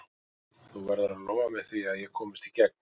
Þú verður að lofa mér því að ég komist í gegn.